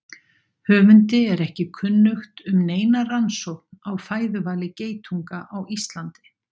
Höfundi er ekki kunnugt um neina rannsókn á fæðuvali geitunga á Íslandi.